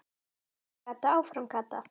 Áfram Kata, áfram Kata!